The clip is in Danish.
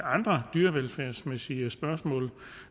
andre dyrevelfærdsmæssige spørgsmål